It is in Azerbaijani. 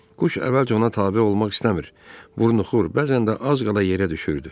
Quş əvvəlcə ona tabe olmaq istəmir, vurnuxur, bəzən də az qala yerə düşürdü.